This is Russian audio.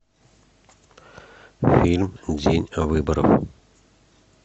фильм день выборов